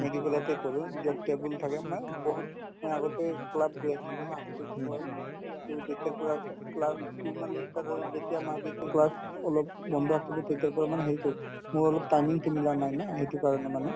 medial তে কৰো য'ত table থাকে মানে বহুত আগতে club গৈছিলো না to কি হ'ল to যেতিয়াৰ পৰা class তো মানে ই start হ'ল যেতিয়া মাজতে class অলপ বন্ধ আছিলে তেতিয়াৰ পৰা মানে হেৰি কৰিছিলো মোৰ অলপ timing তো মিলা নাই না সেইটো কাৰণে মানে